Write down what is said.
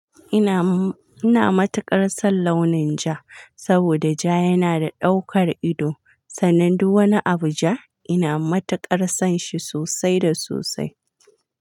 Ina, ina matuƙar son launin ja saboda ja yana da ɗaukar ido. Sannan duk wani Abuj a ina matuƙar son shi sosai da sosai.